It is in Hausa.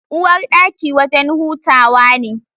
Uwarɗaki wajen hutawa ne